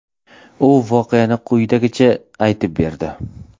U voqeani quyidagicha aytib berdi.